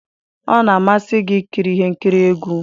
Ọ na-amasị gị ikiri ihe nkiri egwu?